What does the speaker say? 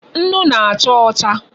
Nnu na-acha ocha